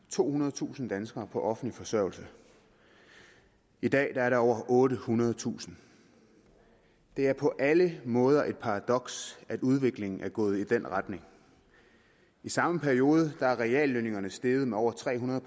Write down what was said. tohundredetusind danskere på offentlig forsørgelse i dag er der over ottehundredetusind det er på alle måder et paradoks at udviklingen er gået i den retning i samme periode er reallønningerne steget med over tre hundrede